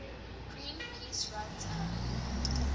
greenpeace runs a